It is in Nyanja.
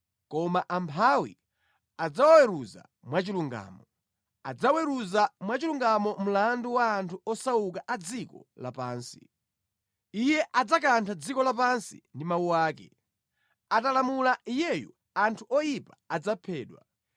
koma amphawi adzawaweruza mwachilungamo, adzaweruza mwachilungamo mlandu wa anthu osauka a dziko lapansi. Iye adzakantha dziko lapansi ndi mawu ake; atalamula Iyeyu anthu oyipa adzaphedwa.